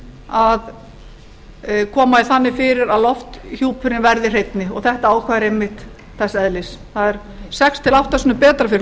að koma því þannig fyrir að lofthjúpurinn verði hreinni og þetta ákvæði er einmitt þess eðlis það er sex til átta sinnum betra fyrir